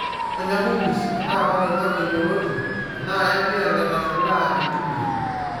Ronya kukis enaa koloingang'e yioloti enaa enkiyang'et nashilaa intumia.